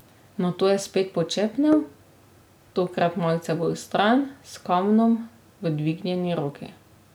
Nato je spet počepnil, tokrat malce bolj stran, s kamnom v dvignjeni roki.